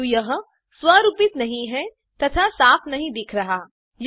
किंतु यह स्वरूपित नहीं हैं तथा साफ नहीं दिख रहा है